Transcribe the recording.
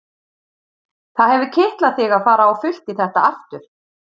Það hefur kitlað þig að fara á fullt í þetta aftur?